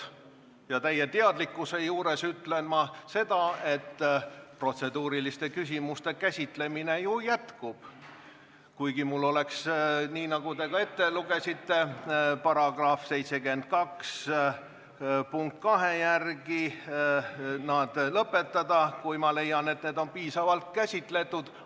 Ja täie teadlikkusega ütlen ma ka seda, et protseduuriliste küsimuste käsitlemine ju jätkub, kuigi mul oleks – nii nagu te ette lugesite –§ 72 lõike 2 järgi õigus see lõpetada, kui leian, et neid on juba piisavalt käsitletud.